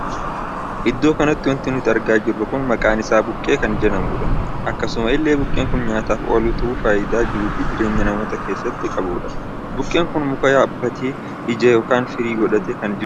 Iddoo kanatti wanti nuti argaa jirru kun maqaan isaa buqqee kan jedhamudha. akkasuma illee buqqeen kun nyaataaf oolu tahee faayidaa jiruu fi jireenya namootaa keessatti qabudha. buqqeen kun muka yaabbatee ija ykn firii godhatee kan jirudha.